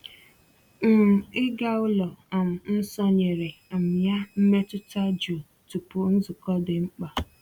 um Ịga ụlọ um nsọ nyere um ya mmetụta jụụ tupu nzukọ dị mkpa.